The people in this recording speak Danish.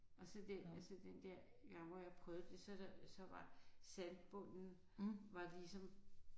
Og så den og så den der gang hvor jeg prøvede det så der så var sandbunden var ligesom